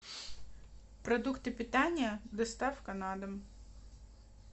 продукты питания доставка на дом